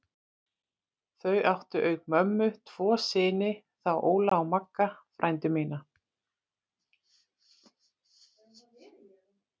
Þau áttu auk mömmu tvo syni, þá Óla og Magga frændur mína.